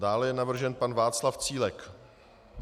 Dále je navržen pan Václav Cílek.